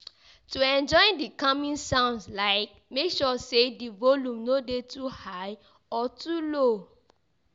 To enjoy di calming sounds like make sure say di volume no de too high or too low